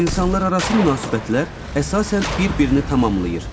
İnsanlararası münasibətlər əsasən bir-birini tamamlayır.